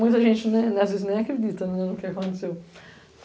Muita gente, às vezes, nem acredita no que aconteceu.